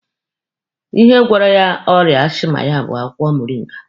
Ihe gwọrọ ya ọrịa ashịma ya bụ akwụkwọ moringa.